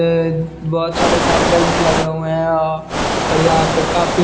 ये बहोत सारे साइकिल्स लगे हुए है और यहां पे काफी--